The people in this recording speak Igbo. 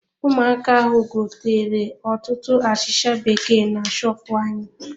Ụmụaka ahụ gotere ọtụtụ achịcha bekee na shopu anyị.